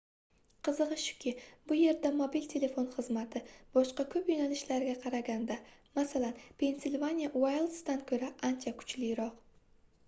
qizigʻi shuki bu yerda mobil telefon xizmati boshqa koʻp yoʻnalishlarga qaraganda masalan pensilvaniya uayldzdan koʻra ancha kuchliroq